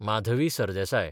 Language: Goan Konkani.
माधवी सरदेसाय